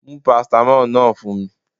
Mú paracetamol náà fún mi